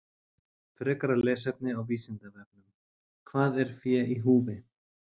Frekara lesefni á Vísindavefnum: Hvað er fé í húfi?